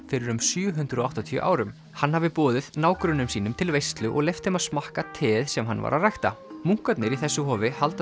fyrir um sjö hundruð og áttatíu árum hann hafi boðið nágrönnum sínum til veislu og leyft þeim að smakka teið sem hann var að rækta munkarnir í þessu hofi halda